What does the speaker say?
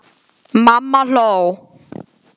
Mamma hló.